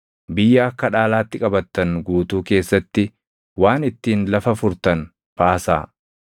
Biyya akka dhaalaatti qabattan guutuu keessatti waan ittiin lafa furtan baasaa.